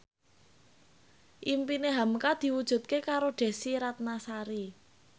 impine hamka diwujudke karo Desy Ratnasari